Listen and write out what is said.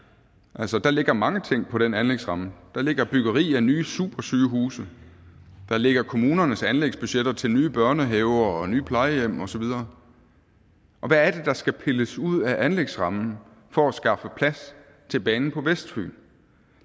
altså der ligger mange ting på den anlægsramme der ligger byggeri af nye supersygehuse der ligger kommunernes anlægsbudgetter til nye børnehaver nye plejehjem og så videre og hvad er det der skal pilles ud af anlægsrammen for at skaffe plads til banen på vestfyn